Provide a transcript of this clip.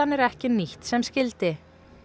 er ekki nýtt sem skyldi